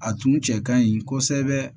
A tun cɛ ka ɲi kosɛbɛ